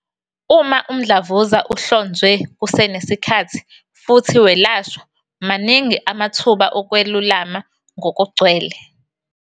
Uma umdlavuza uhlonzwe kusenesikhathi futhi welashwa, maningi amathuba okwelulama ngokugcwele.